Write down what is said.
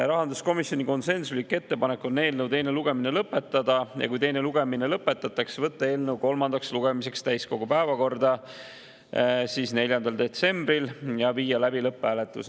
Rahanduskomisjoni konsensuslik ettepanek on eelnõu teine lugemine lõpetada ja kui teine lugemine lõpetatakse, võtta eelnõu kolmandaks lugemiseks täiskogu päevakorda 4. detsembril ja viia läbi lõpphääletus.